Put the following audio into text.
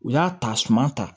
U y'a ta suma ta